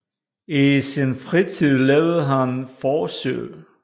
I sin fritid lavede han forsøg